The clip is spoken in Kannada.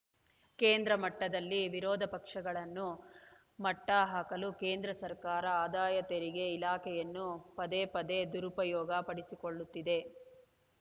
ಕೇಂದ್ರ ಮಟ್ಟದಲ್ಲಿ ವಿರೋಧ ಪಕ್ಷಗಳನ್ನು ಮಟ್ಟಹಾಕಲು ಕೇಂದ್ರ ಸರ್ಕಾರ ಆದಾಯ ತೆರಿಗೆ ಇಲಾಖೆಯನ್ನು ಪದೇ ಪದೇ ದುರುಪಯೋಗ ಪಡಿಸಿಕೊಳ್ಳುತ್ತಿದೆ